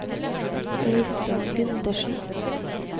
Øistein Gundersen